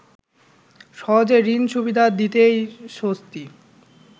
সহজে ঋণ সুবিধা দিতেই স্বস্তি